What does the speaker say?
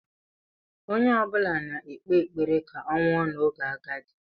Onye ọ bụla na-ekpe ekpere ka ọ nwụọ n'oge agadi.